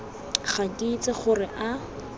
ga ke itse gore a